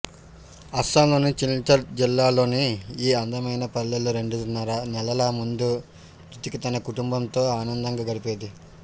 అస్సాంలోని సిల్చర్ జిల్లాలోని ఈ అందమైన పల్లెలో రెండున్నర నెలల ముందు జుతిక తన కుటుంబంతో ఆనందంగా గడిపేది